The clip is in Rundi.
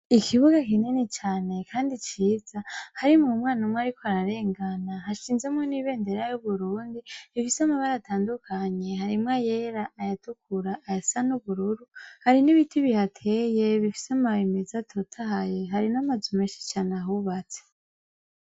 ikibuga kinini cane kandi ciza harimwo umwana umwe ariko ararengana hashinzemo n'ibendera y'uburundi bifise amabara atandukanye harimwo ayera ayatukura ayasa n'ubururu hari n'ibiti bihateye bifise ambabi meza atotahaye hari n'amazu menshi cane ahubatse